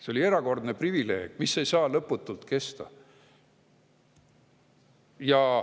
See on erakordne privileeg, mis ei saa lõputult kesta.